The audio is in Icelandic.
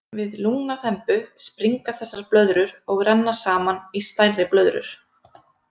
Við lungnaþembu springa þessar blöðrur og renna saman í stærri blöðrur.